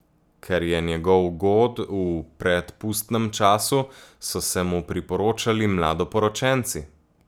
Ker je njegov god v predpustnem času, so se mu priporočali mladoporočenci.